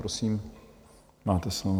Prosím, máte slovo.